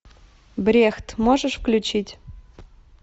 брехт можешь включить